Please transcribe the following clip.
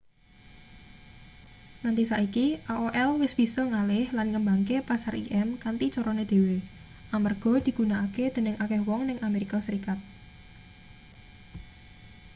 nganti saiki aol wis bisa ngalih lan ngembangke pasar im kanthi carane dhewe amarga digunakake dening akeh wong ning amerika serikat